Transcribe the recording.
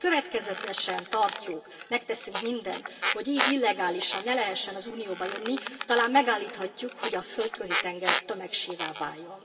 Ha pedig következetesen tartjuk, megteszünk mindent, hogy illegálisan ne lehessen az Unióba jönni, talán megállíthatjuk, hogy a Földközi tenger tömegsírrá váljon.